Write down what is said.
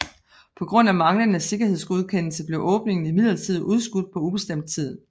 På grund af manglende sikkerhedsgodkendelse blev åbningen imidlertid udskudt på ubestemt tid